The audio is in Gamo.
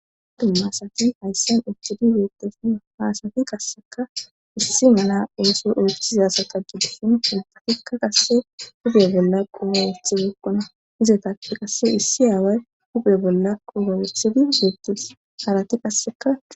Adumma sati hayssen uchchidi beettefu haasati qasseka issi mana ooso ooththizasata gideshin filpatikka qasse hube bolla quuhaawethi gekkona izetappe qasse issi aaway kupe bolla qubawethidi beettus harati qasseka.